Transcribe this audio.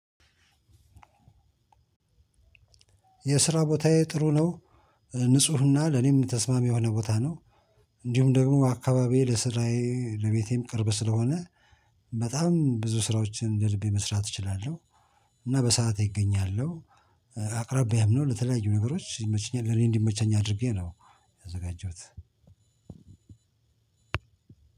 የስራ ቦታዬ ጥሩ ነው ንፁህና ለኔም ተስማሚ የሆነ ቦታ ነው። እንዲሁም ደግሞ አካባቢዬ ለስራዬ ለቤቴም ቅርብ ስለሆነ በጣም ብዙ ስራዎችን እንደ ልቤ መስራት እችላለሁ። እና በሰአት እገኛለሁ። አቅራቢያም ነው ለተለያዩ ነገሮች ይመቸኛል ለኔ እንዲመቸኝ አድርጌ ነው። ያዘጋጀሁት።